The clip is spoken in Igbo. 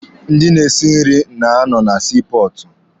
Ndị na-esi nri na-anọ na sii pọọtụ.